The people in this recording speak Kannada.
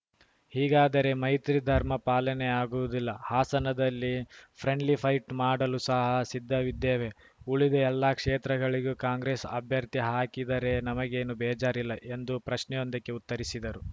ಹೀಗಾದರೆ ಮೈತ್ರಿ ಧರ್ಮ ಪಾಲನೆಯಾಗುವುದಿಲ್ಲ ಹಾಸನದಲ್ಲಿ ಫ್ರೆಂಡ್ಲಿ ಫೈಟ್‌ ಮಾಡಲು ಸಹ ಸಿದ್ಧವಿದ್ದೇವೆ ಉಳಿದ ಎಲ್ಲ ಕ್ಷೇತ್ರಗಳಿಗೂ ಕಾಂಗ್ರೆಸ್‌ ಅಭ್ಯರ್ಥಿ ಹಾಕಿದರೆ ನಮಗೇನು ಬೇಜಾರಿಲ್ಲ ಎಂದು ಪ್ರಶ್ನೆಯೊಂದಕ್ಕೆ ಉತ್ತರಿಸಿದರು